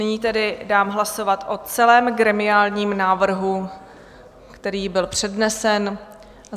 Nyní tedy dám hlasovat o celém gremiálním návrhu, který byl přednesen.